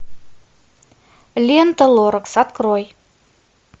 лента лоракс открой